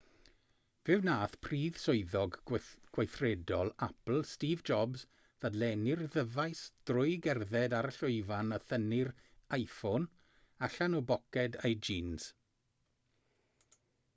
fe wnaeth prif swyddog gweithredol apple steve jobs ddadlennu'r ddyfais drwy gerdded ar y llwyfan a thynnu'r iphone allan o boced ei jîns